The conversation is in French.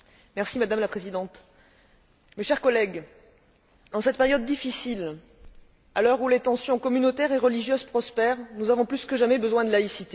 Madame la Présidente, mes chers collègues, en cette période difficile, à l'heure où les tensions communautaires et religieuses prospèrent, nous avons plus que besoin de laïcité.